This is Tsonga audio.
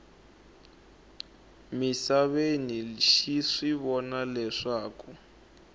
misaveni xi swi vona leswaku